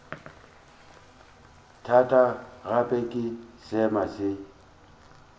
thata gape ke seema se